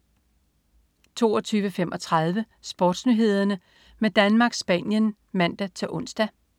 22.35 SportsNyhederne med Danmark-Spanien (man-ons)